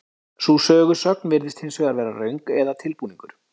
sú sögusögn virðist hins vegar vera röng eða tilbúningur